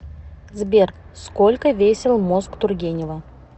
сбер сколько весил мозг тургенева